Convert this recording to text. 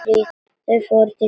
Þau fór til kirkju.